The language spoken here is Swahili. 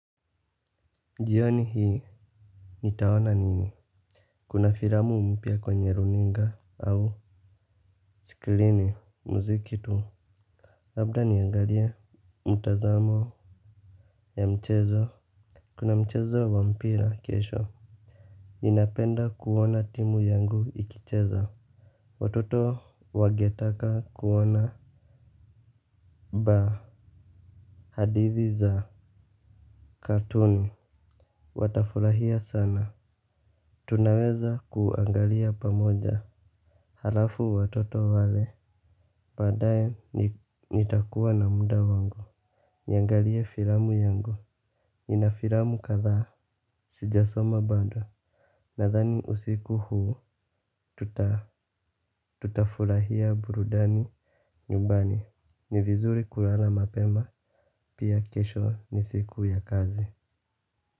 Jioni hii nitaona nini. Kuna filamu mpya kwenye runinga au sikilini muziki tu labda niangalie Mtazamo Ya mchezo. Kuna mchezo wa mpira kesho. Ninapenda kuona timu yangu ikicheza. Watoto wangetaka kuona hadithi za Katooni. Watafurahia sana. Tunaweza kuangalia pamoja halafu watoto wale baadae nitakuwa na muda wangu, niangalie filamu yangu, nina filamu kadhaa, sijasoma bado, nadhani usiku huu, tutafurahia burudani nyumbani, ni vizuri kulala mapema, pia kesho ni siku ya kazi.